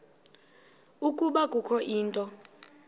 ukuba kukho into